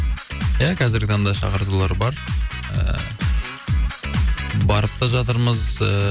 ия қазіргі таңда шақыртулар бар ыыы барып та жатырмыз ыыы